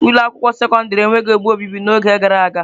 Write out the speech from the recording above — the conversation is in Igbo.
Ụlọ akwụkwọ sekọndrị enweghị ebe obibi n'oge gara aga.